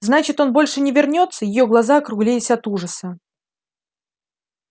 значит он больше не вернётся её глаза округлились от ужаса